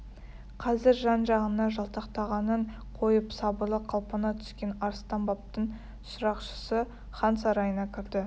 қазір жан-жағына жалтақтағанын қойып сабырлы қалпына түскен арыстанбаптың шырақшысы хан сарайына кірді